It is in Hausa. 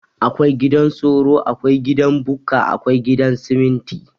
Akwai gidan soro, Akwai gidan Bukka, Akwai gidan siminti.